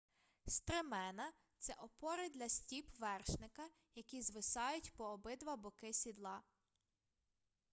стремена це опори для стіп вершника які звисають по обидва боки сідла